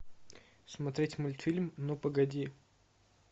смотреть мультфильм ну погоди